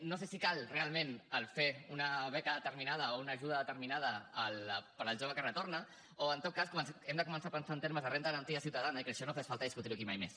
no sé si cal realment fer una beca determinada o una ajuda determinada per al jove que retorna o en tot cas hem de començar a pensar en termes de renda garantida ciutadana i que això no fes falta discutir ho aquí mai més